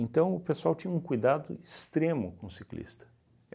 Então, o pessoal tinha um cuidado extremo com o ciclista.